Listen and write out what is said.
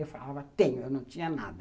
Eu falava, tenho, eu não tinha nada.